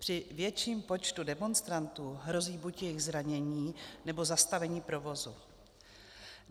Při větším počtu demonstrantů hrozí buď jejich zranění, nebo zastavení provozu.